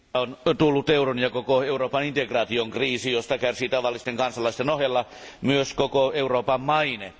on tullut euron ja koko Euroopan integraation kriisi, josta kärsii tavallisten kansalaisten ohella myös koko Euroopan maine.